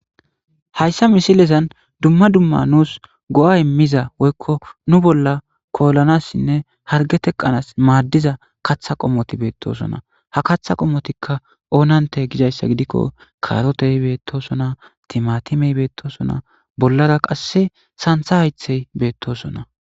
hayssa misilezan dumma dumma nuus go7a immiza woykko nu bolla koolanassinne harge teqqanas maaddiza katha qommoti beettosona ha kaththa qommotikka oonante gidayssa gidikko kaarotehi beettosona timatimey beettosona bollara qasse santha haythey beettosona